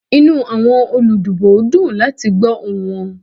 Inu awọn oludibo dun lati gbọ ohun wọn.